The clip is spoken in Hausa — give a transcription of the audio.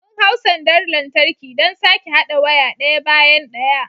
Mun hau sandar lantarki don sake haɗa waya ɗaya bayan ɗaya.